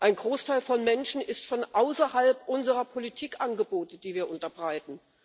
Ein Großteil der Menschen ist von außerhalb unserer Politikangebote, die wir unterbreiten.